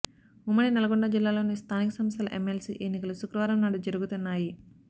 ఉమ్మడి నల్గొండ జిల్లాలోని స్థానిక సంస్థల ఎమ్మెల్సీ ఎన్నికలు శుక్రవారం నాడు జరుగుతున్నాయి